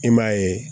I m'a ye